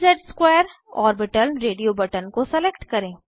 dz2 orbital radio button को select करें